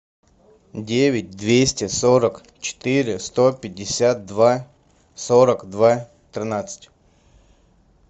девять двести сорок четыре сто пятьдесят два сорок два тринадцать